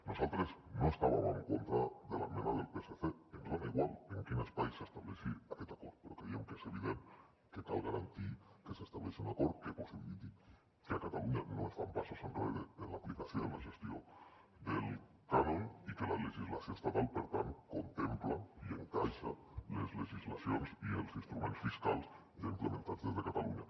nosaltres no estàvem en contra de l’esmena del psc ens és igual en quin espai s’estableixi aquest acord però creiem que és evident que cal garantir que s’estableixi un acord que possibiliti que a catalunya no es fan passos enrere en l’aplicació i en la gestió del cànon i que la legislació estatal per tant contempla i encaixa les legislacions i els instruments fiscals ja implementats des de catalunya